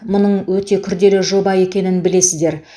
мұның өте күрделі жоба екенін білесіздер